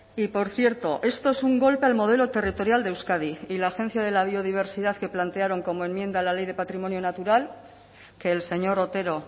y por cierto esto es un golpe al modelo territorial de euskadi y la agencia de la biodiversidad que plantearon como enmienda a la ley de patrimonio natural que el señor otero